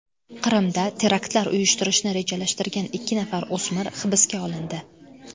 Qrimda teraktlar uyushtirishni rejalashtirgan ikki nafar o‘smir hibsga olindi .